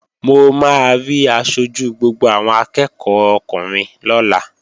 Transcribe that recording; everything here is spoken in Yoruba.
Mo máa rí aṣojú gbogbo àwọn akẹ́ẹ̀kọ́ ọkùnrin lọ́la